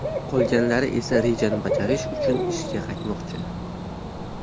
Qolganlari esa rejani bajarish uchun ishga qaytmoqchi.